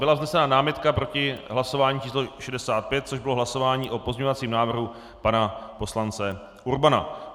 Byla vznesena námitka proti hlasování číslo 65, což bylo hlasování o pozměňovacím návrhu pana poslance Urbana.